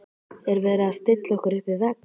Er verið að stilla okkur upp við vegg?